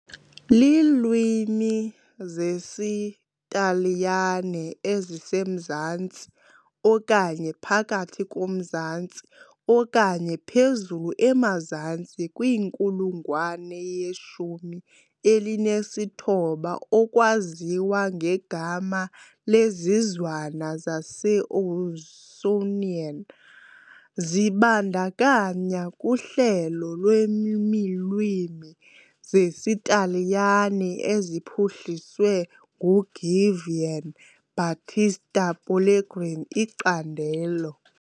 Iilwimi zesiTaliyane ezisemazantsi okanye phakathi komzantsi, okanye phezulu-emazantsi, kwinkulungwane yeshumi elinesithoba okwaziwa ngegama lezizwana zaseAusonian, zibandakanya, kuhlelo lweelwimi zesiTaliyane eziphuhliswe nguGiovan Battista Pellegrini, icandelo.